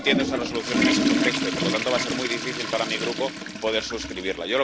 No entiendo esa Resolución en ese contexto y, por lo tanto, va a ser muy difícil para mi Grupo poder suscribirla.